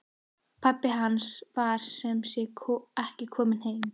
Pabbi hans var sem sé ekki kominn heim.